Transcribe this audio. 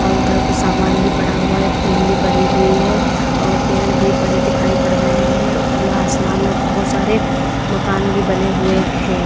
और उधर को सामान भी पड़ा हुआ एक टीन भी पड़ी हुई है और पेड़ भी पड़े दिखाई पड़ रहे हैं खुला आसमान में बहुत सारे मकान भी बने हुए हैं।